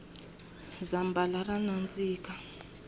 zambhala ra nandzika